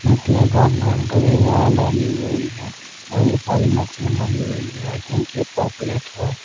मछलियां काट काट कर ये यहाँ डाली हुई हैं और ये सारी मछलियां मरी हुई हैं आई थिंक ये पॉकलेट हु--